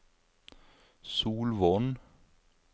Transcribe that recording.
Solvorn